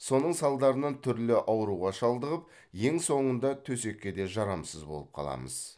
соның салдарынан түрлі ауруға шалдығып ең соңында төсекке де жарамсыз болып қаламыз